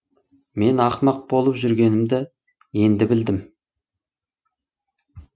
мен ақымақ болып жүргенімді енді білдім